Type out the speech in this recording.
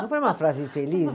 Não foi uma frase infeliz?